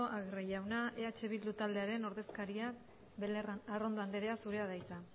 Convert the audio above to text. agirre jauna eh bilduren ordezkaria arrondo anderea zurea da hitza